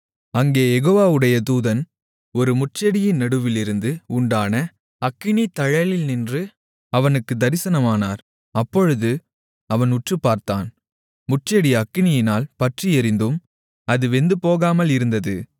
அங்கே யெகோவாவுடைய தூதன் ஒரு முட்செடியின் நடுவிலிருந்து உண்டான அக்கினித்தழலில் நின்று அவனுக்கு தரிசனமானார் அப்பொழுது அவன் உற்றுப்பார்த்தான் முட்செடி அக்கினியால் பற்றி எரிந்தும் அது வெந்துபோகாமல் இருந்தது